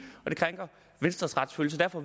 og venstres retsfølelse derfor